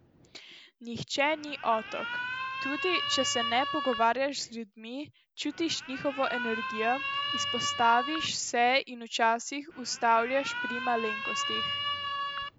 Nihče ni otok, tudi če se ne pogovarjaš z ljudmi, čutiš njihovo energijo, izpostaviš se in včasih ustavljaš pri malenkostih.